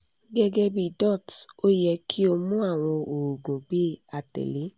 gẹgẹbi dots o yẹ ki o mu awọn oogun bi atẹle